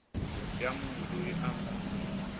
ya munhu loyi a nga